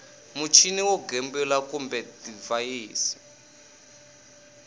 muchini wo gembula kumbe divhayisi